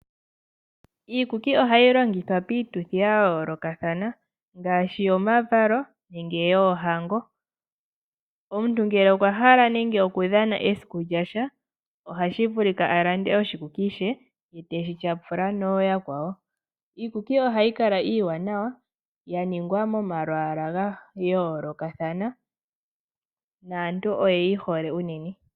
Iikuki ohayi longithwa piituthi yayoolokathana ngaashi yomavalo nenge yoohango. Omuntu ngele okwahala okudhana esiku lyasha, ohashi vulika alande oshikuki she ye teshi tyapula nooyakwawo. Iikuki ohayi kala iiwanawa yaningwa momalwaala gayoolokathana naantu oyeyi hole unene.